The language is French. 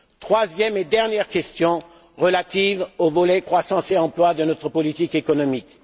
Troisième et dernière question, relative au volet croissance et emploi de notre politique économique.